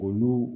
Olu